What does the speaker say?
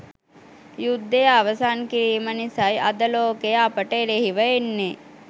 යුද්ධය අවසන් කිරීම නිසයි අද ලෝකය අපට එරෙහිව එන්නේ.